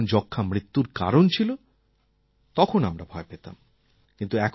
কিন্তু যখন যক্ষ্মা মৃত্যুর কারণ ছিল তখন আমরা ভয় পেতাম